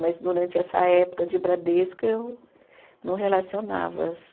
Mas durante essa época de Bradesco, eu não relacionava.